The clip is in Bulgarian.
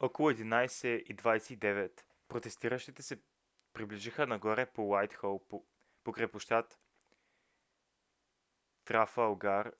около 11:29 протестиращите се придвижиха нагоре по уайтхол покрай площад трафалгар